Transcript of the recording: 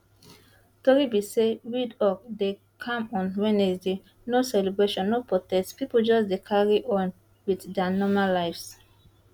tori be say windhoek dey calm on wednesday no celebrations no protests pipo just dey carry on wit dia normal lives